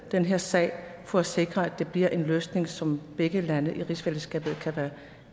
den her sag for at sikre at det bliver en løsning som begge lande i rigsfællesskabet kan være